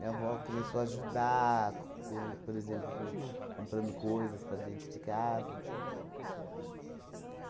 Minha avó começou a ajudar co co, por exemplo, com comprando coisas para dentro de casa.